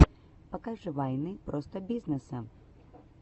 покажи вайны простобизнесса